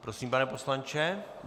Prosím, pane poslanče.